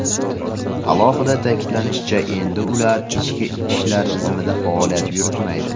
Alohida ta’kidlanishicha, endi ular ichki ishlar tizimida faoliyat yuritmaydi.